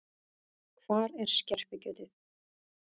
Hvar er skerpikjötið?